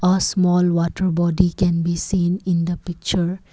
a small water body can be seen in the picture.